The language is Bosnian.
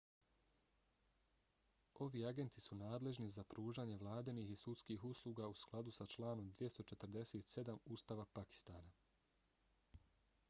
ovi agenti su nadležni za pružanje vladinih i sudskih usluga u skladu s članom 247 ustava pakistana